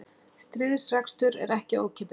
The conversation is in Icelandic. Stríðsrekstur er ekki ókeypis